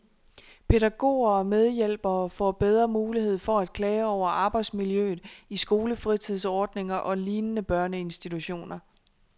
Pædagoger og medhjælpere får bedre mulighed for at klage over arbejdsmiljøet i skolefritidsordninger og lignende børneinstitutioner.